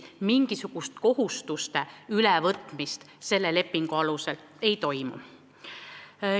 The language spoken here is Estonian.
Mingisugust kohustuste ülevõtmist selle lepingu alusel ei toimu.